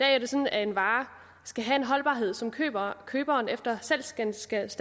er det sådan at en vare skal have en holdbarhed som køberen køberen efter salgsgenstandens